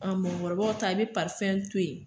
A mɔgɔkɔrɔbaw ta i bɛ to ye.